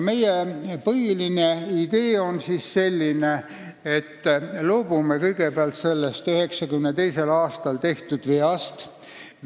Meie põhiline idee on selline, et me loobume kõigepealt sellest 1992. aastal tehtud veast.